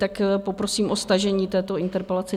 Tak poprosím o stažení této interpelace.